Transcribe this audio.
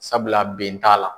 Sabula ben t'a la.